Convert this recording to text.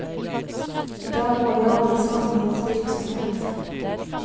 I dag må vi alle savne hans virksomhet.